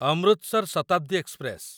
Amritsar Shatabdi express